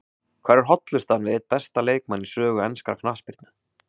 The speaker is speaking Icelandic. Hvar er hollustan við einn besta leikmann í sögu enskrar knattspyrnu?